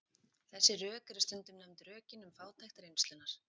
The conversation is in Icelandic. Þessi rök eru stundum nefnd rökin um fátækt reynslunnar.